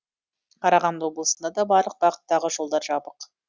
қарағанды облысында да барлық бағыттағы жолдар жабық